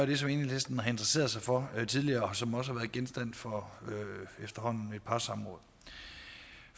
det som enhedslisten har interesseret sig for tidligere og som også har været genstand for efterhånden et par samråd